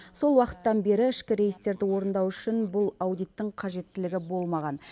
сол уақыттан бері ішкі рейстерді орындау үшін бұл аудиттің қажеттілігі болмаған